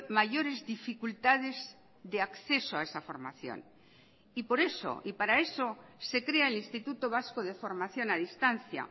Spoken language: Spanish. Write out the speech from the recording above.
mayores dificultades de acceso a esa formación y por eso y para eso se crea el instituto vasco de formación a distancia